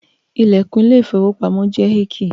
The door of the bank is heacy